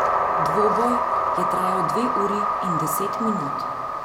Dvoboj je trajal dve uri in deset minut.